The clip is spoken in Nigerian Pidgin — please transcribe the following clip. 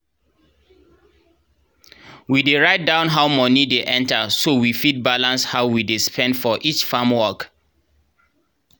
we dey write down how money dey enter so we fit balance how we dey spend for each farm work.